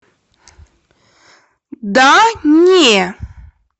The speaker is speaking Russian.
да не